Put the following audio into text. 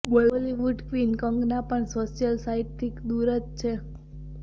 Bollywood queen Kangana પણ social site થી દુર જ છે